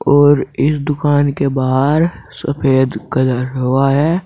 और इस दुकान के बाहर सफेद कलर हुआ है।